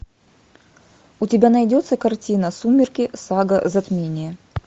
у тебя найдется картина сумерки сага затмение